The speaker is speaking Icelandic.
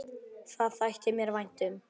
Það þætti mér vænt um